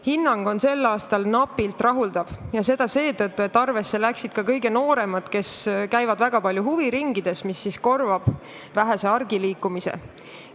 Hinnang on sel aastal napilt rahuldav ja seda seetõttu, et arvesse läksid ka kõige nooremad, kes käivad väga palju huviringides, mis korvab vähese argiliikumise.